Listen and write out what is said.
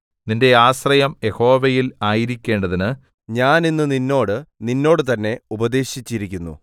നിന്റെ ആശ്രയം യഹോവയിൽ ആയിരിക്കേണ്ടതിന് ഞാൻ ഇന്ന് നിന്നോട് നിന്നോട് തന്നെ ഉപദേശിച്ചിരിക്കുന്നു